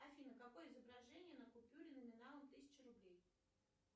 афина какое изображение на купюре номиналом тысяча рублей